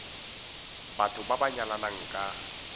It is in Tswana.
batho ba ba nyalanang ka